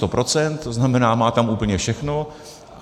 To znamená, má tam úplně všechno.